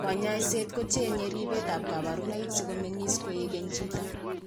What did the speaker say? Kanyoiset ko cheng'e ribetab kabarunoik sikomeng'is koek keny chito